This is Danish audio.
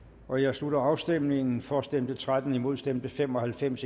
slutter afstemningen for stemte tretten imod stemte fem og halvfems